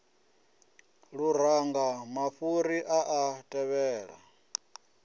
luranga mafhuri a a tevhela